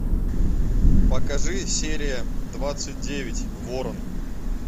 покажи серия двадцать девять ворон